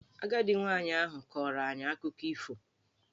Agadi nwaanyị ahụ kọọrọ anyị akụkọ ifo.